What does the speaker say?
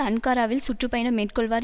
அன்காராவில் சுற்று பயணம் மேற்கொள்வார்